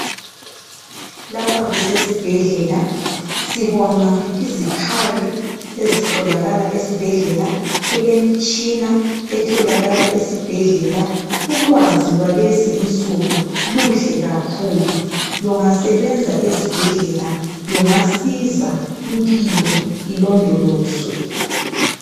Lapha kusesibhedlela sibona izikhali ezitholakaa esibhedlela. Kulemitshina etholakala esibhedlela . Ulwazi lwalwzi insuku luhle kakahulu. Kungasebenza ezibhedlela kungasiza impilo ilondolozwe.